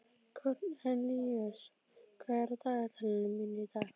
Kornelíus, hvað er á dagatalinu mínu í dag?